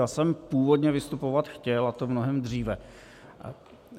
Já jsem původně vystupovat chtěl, a to mnohem dříve.